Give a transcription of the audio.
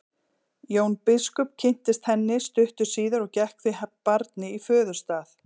Jón biskup kynntist henni stuttu síðar og gekk því barni í föðurstað.